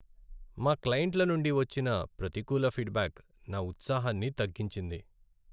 మా క్లయింట్ల నుండి వచ్చిన ప్రతికూల ఫీడ్ బ్యాక్ నా ఉత్సాహాన్ని తగ్గించింది.